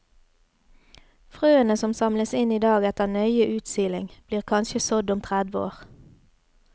Frøene som samles inn i dag etter nøye utsiling, blir kanskje sådd om tredve år.